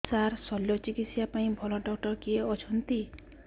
ସାର ଶଲ୍ୟଚିକିତ୍ସା ପାଇଁ ଭଲ ଡକ୍ଟର କିଏ ଅଛନ୍ତି